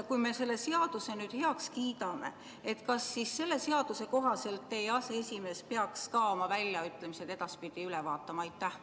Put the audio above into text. Kui me selle seaduseelnõu heaks kiidame, siis kas selle kohaselt peaks teie aseesimees edaspidi oma väljaütlemised üle vaatama?